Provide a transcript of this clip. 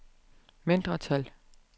mindretal